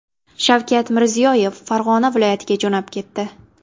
Shavkat Mirziyoyev Farg‘ona viloyatiga jo‘nab ketdi.